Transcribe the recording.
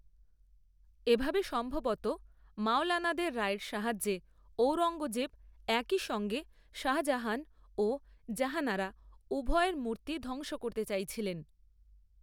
এভাবে সম্ভবত মওলানাদের রায়ের সাহায্যে ঔরঙ্গজেব একই সঙ্গে শাহজাহান ও জাহানারা উভয়ের মূর্তি ধ্বংস করতে চাইছিলেন।